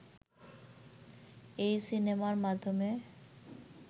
এই সিনেমার মাধ্যমে